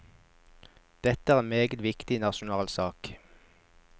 Dette er en meget viktig nasjonal sak.